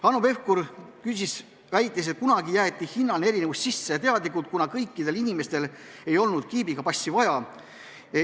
Hanno Pevkur väitis, et kunagi jäeti hindade erinevus sisse teadlikult, kuna kõikidel inimestel ei olnud kiibiga passi vaja.